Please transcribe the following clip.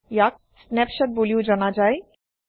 ইয়াক স্নেপশ্বট বুলিও জনা যায়